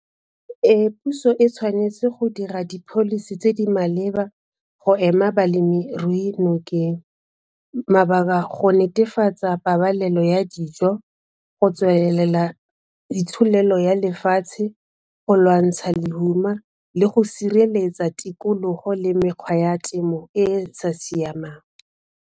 Puso e tshwanetse go dira di-policy tse di maleba go ema balemirui nokeng go netefatsa pabalelo ya dijo go tswelela itsholelo ya lefatshe, go lwantsha lehuma le go sireletsa tikologo le mekgwa ya temo e e sa siamang.